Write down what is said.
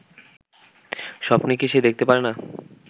স্বপ্ন কি সে দেখতে পারেনা